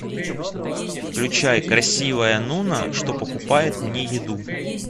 включай красивая нуна что покупает мне еду